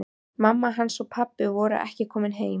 Mamma hans og pabbi voru ekki komin heim.